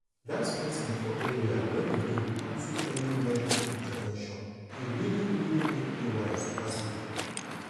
dat meeting for area wey we do unto early medical intervention e really really make me wise pass before.